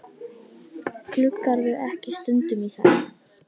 Gluggarðu ekki stundum í þær?